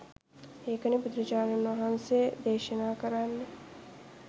ඒකනේ බුදුරජාණන් වහන්සේ දේශනා කරන්නේ